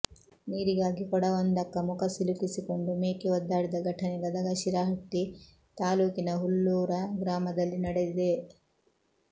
ನೀರಿಗಾಗಿ ಕೊಡವೊಂದಕ್ಕ ಮುಖ ಸಿಲುಕಿಸಿಕೊಂಡು ಮೇಕೆ ಒದ್ದಾಡಿದ ಘಟನೆ ಗದಗ ಶಿರಹಟ್ಟಿ ತಾಲೂಕಿನ ಹುಲ್ಲೂರ ಗ್ರಾಮದಲ್ಲಿ ನಡೆದಿದೆ